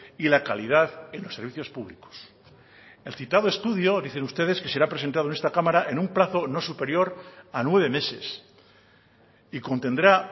y la calidad en los servicios públicos el citado estudio dicen ustedes que será presentado en esta cámara en un plazo no superior a nueve meses y contendrá